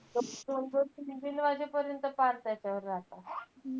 दोन-दोन तीन-तीन वाजेपर्यंत कान त्याच्यावर राहतात.